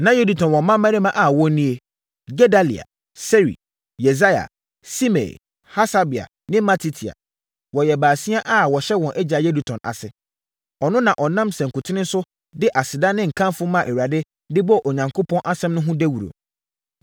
Na Yedutun wɔ mmammarima a wɔn nie: Gedalia, Seri, Yesaia, Simei, Hasabia ne Matitia. Wɔyɛ baasia a wɔhyɛ wɔn agya Yedutun ase. Ɔno na ɔnam sankuten so de aseda ne nkamfo maa Awurade de bɔɔ Onyankopɔn asɛm no ho dawuro.